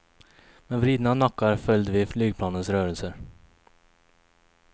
Med vridna nackar följde vi flygplanens rörelser.